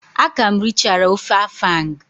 A ka m richara ofe afang.